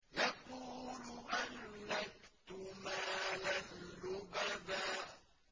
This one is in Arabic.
يَقُولُ أَهْلَكْتُ مَالًا لُّبَدًا